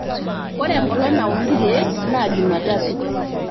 ore enkolong' nauni ilkeek naa jumatatu